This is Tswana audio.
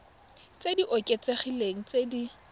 tse di oketsegileng tse di